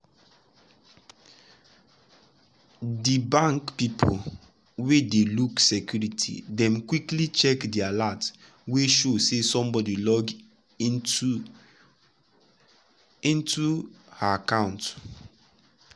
de bank people wey dey look security dem quickly check de alert wey show say somebody log into into her account.